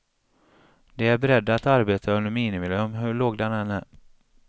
De är beredda att arbeta under minimilön, hur låg den än är.